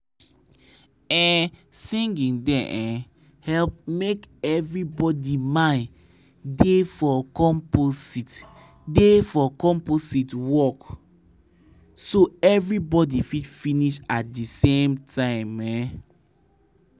no matter how small your land be if you dey treat am right with compost and crop changebeta gain go show.